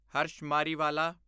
Harsh Mariwala